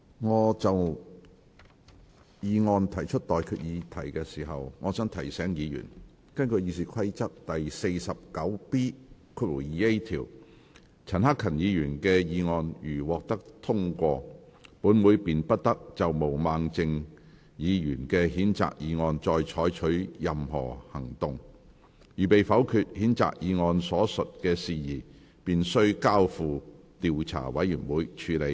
我就議案提出待決議題之前，我想提醒議員，根據《議事規則》第 49B 條，陳克勤議員的議案如獲得通過，本會便不得就毛孟靜議員的譴責議案再採取任何行動；如被否決，譴責議案所述的事宜便須交付調查委員會處理。